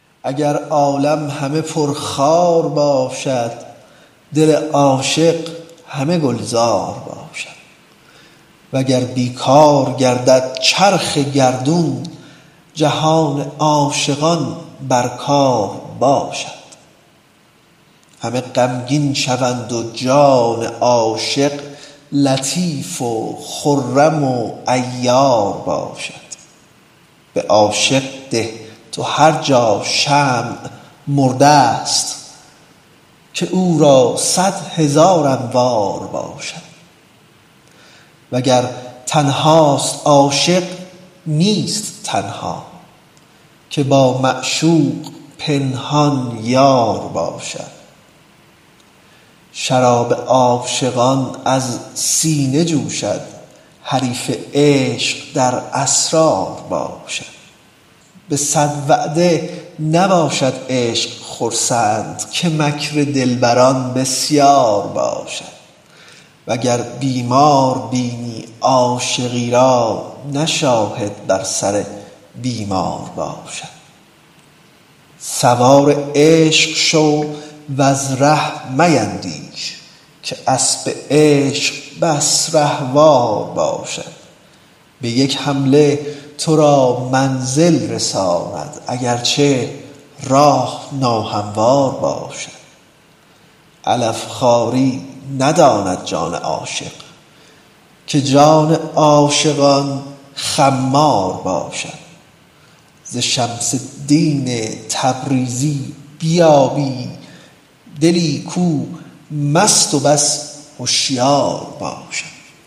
اگر عالم همه پرخار باشد دل عاشق همه گلزار باشد وگر بی کار گردد چرخ گردون جهان عاشقان بر کار باشد همه غمگین شوند و جان عاشق لطیف و خرم و عیار باشد به عاشق ده تو هر جا شمع مرده ست که او را صد هزار انوار باشد وگر تنهاست عاشق نیست تنها که با معشوق پنهان یار باشد شراب عاشقان از سینه جوشد حریف عشق در اسرار باشد به صد وعده نباشد عشق خرسند که مکر دلبران بسیار باشد وگر بیمار بینی عاشقی را نه شاهد بر سر بیمار باشد سوار عشق شو وز ره میندیش که اسب عشق بس رهوار باشد به یک حمله تو را منزل رساند اگر چه راه ناهموار باشد علف خواری نداند جان عاشق که جان عاشقان خمار باشد ز شمس الدین تبریزی بیابی دلی کو مست و بس هشیار باشد